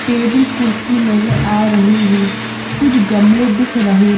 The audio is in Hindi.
टेबल कुर्सी नजर आ रही है कुछ गमले दिख रहे--